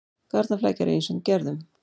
Garnaflækja er af ýmsum gerðum.